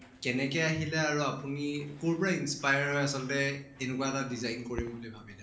কেনেকে আহিলে আৰু আপুনি কʼৰ পৰা inspire হৈ আছলতে এনেকুৱা এটা design কৰিম বুলি ভাবিলে